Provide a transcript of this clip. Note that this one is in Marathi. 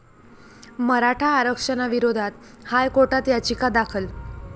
मराठा आरक्षणाविरोधात हायकोर्टात याचिका दाखल